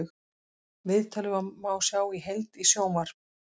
Viðtalið má sjá í heild í sjónvarp